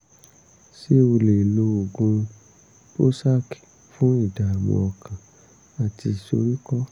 ṣé o lè lo oògùn prozac fún ìdààmú ọkàn àti ìsoríkọ́?